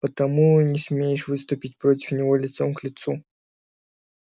потому и не смеешь выступить против него лицом к лицу